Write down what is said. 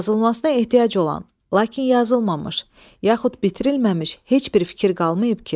Yazılmasına ehtiyac olan, lakin yazılmamış, yaxud bitirilməmiş heç bir fikir qalmayıb ki?